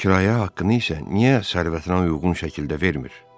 Kirayə haqqını isə niyə sərvətinə uyğun şəkildə vermir?